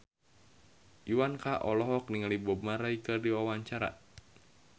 Iwa K olohok ningali Bob Marley keur diwawancara